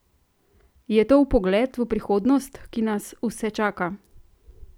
Je to vpogled v prihodnost, ki nas vse čaka?